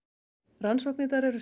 rannsóknirnar eru